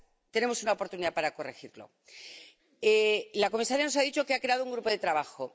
Tenemos una oportunidad para corregirlo. La comisaria nos ha dicho que ha creado un grupo de trabajo.